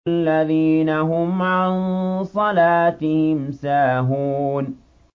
الَّذِينَ هُمْ عَن صَلَاتِهِمْ سَاهُونَ